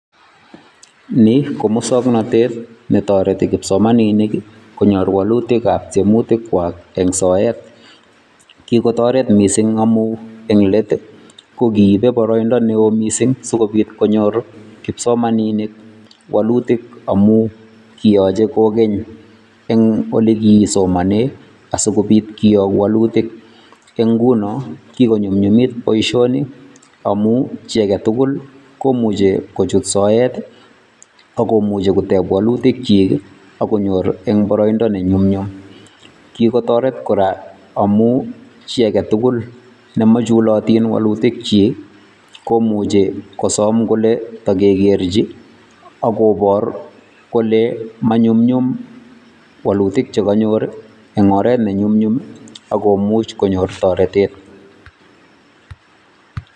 Nii ko misuknotet netoreti kipsomaninik konyoor woluutik ab tiemutikchwak en soet. Kikotoret missing amun eng let ko kibe boroindo neo missing sikobit konyoor kipsosomaninik woolutik amun kioche kikonyi en elekisomonen asikobiit koyoktoo ,ingunon kikonyumnyum boishoni amun chi agetugul komuche kochuut soet I, ak komuuche koteeb woluutikyik ak konyor eng boroindo nenyumnyum. Kikotoret kora amun chi agetugul nemochulotin woluutikyik komuuche kosom kole tokekerchi kobor kole manyumnyum woluutik che konyor eng oret nenyumnyum ak komuuche konyor toreteet.